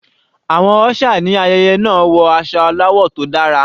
Àwọn usher ní ayẹyẹ náà wọ aṣọ aláwọ̀ tó dára.